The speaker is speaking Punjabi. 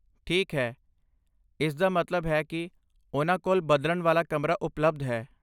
ਠੀਕ ਹੈ, ਇਸਦਾ ਮਤਲਬ ਹੈ ਕਿ ਉਹਨਾਂ ਕੋਲ ਬਦਲਣ ਵਾਲਾ ਕਮਰਾ ਉਪਲਬਧ ਹੈ।